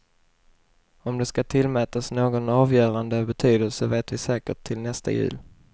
Om det skall tillmätas någon avgörande betydelse vet vi säkert till nästa jul.